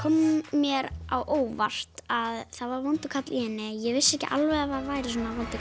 mér á óvart að það var vondur kall í henni ég vissi ekki alveg að það væri svona vondur